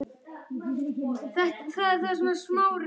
Berin eru rauðgul til rauð.